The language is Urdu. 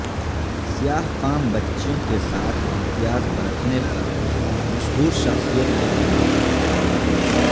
سیاہ فام بچیوں کے ساتھ امتیاز برتنے پر مشہور شخصیت کے خلاف کارروائی